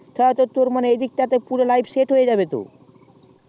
ধরে তোর এদিকতার তে পুরো life set হয়ে যাবে